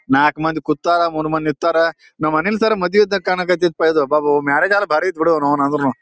ನಾಕ್ ಮಂದಿ ಕೂತರ ಮೂರ್ ಮಂದಿ ನಿತ್ತರ ನಮ ಅನಿಲ್ ಸರ್ ಮದ್ವೆ ಇದ್ದಾಗ ಕಾನಾಕ್ ಹತ್ತಿಪ ಅಬಾಬ ಮ್ಯಾರೇಜ್ ಆದರ್ ಬಾರಿ ಅತ್ ಬಿಡು ಆದುನು.